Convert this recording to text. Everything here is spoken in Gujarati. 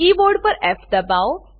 કીબોર્ડ પર ફ દબાવો